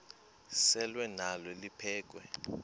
selwa nalo liphekhwe